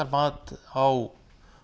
mat á